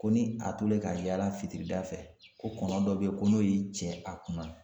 Ko ni a tolen ka yaala fitirida fɛ ko kɔnɔ dɔ be yen ko n'o y'i cɛ a kunna